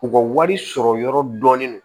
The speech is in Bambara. U ka wari sɔrɔ yɔrɔ dɔɔnin don